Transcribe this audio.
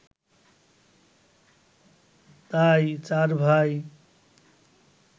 তাই চার ভাই